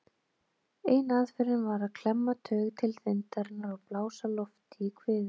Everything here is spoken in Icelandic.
Ein aðferðin var að klemma taug til þindarinnar og blása lofti í kviðinn.